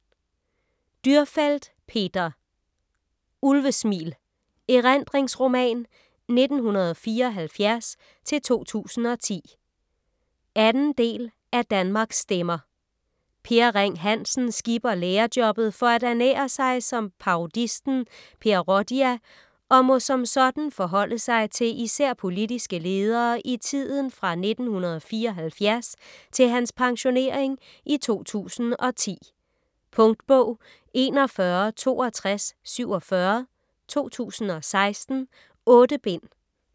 Dürrfeld, Peter: Ulvesmil: erindringsroman 1974-2010 2. del af Danmarks stemmer. Per Ring Hansen skipper lærerjobbet for at ernære sig som parodisten Per Rodia og må som sådan forholde sig til især politiske ledere i tiden fra 1974 til hans pensionering i 2010. Punktbog 416247 2016. 8 bind.